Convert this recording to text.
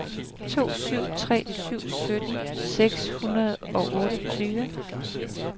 to syv tre syv sytten seks hundrede og otteogtyve